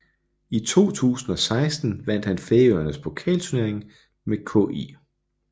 I 2016 vandt han Færøernes pokalturnering med KÍ